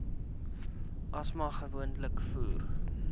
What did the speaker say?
asma gewoonlik voor